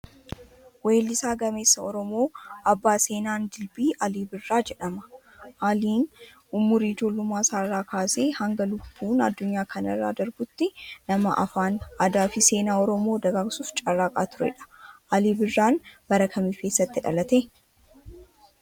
Weellisaa gameessa Oromoo abbaa seenaan dilbii Alii Birraa jedhama. Aliin umurii ijoollummaa isaa irraa kaasee hanga lubbuun addunyaa kanarraa darbutti nama afaan, aadaa fi seenaa Oromoo dagaagsuuf carraaqaa turedha. Alii Birraan bara kamii fi eessatti dhalate?